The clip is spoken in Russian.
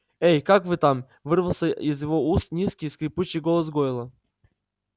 эй как вы там вырвался из его уст низкий скрипучий голос гойла